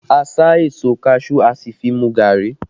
A sá èso kaṣuú, a sì fi mu gari